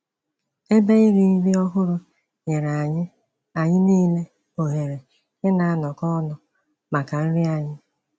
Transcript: Ebe iri nri ọhụrụ nyere anyị anyị niile ohere ịna-anọkọ ọnụ maka nri anyị.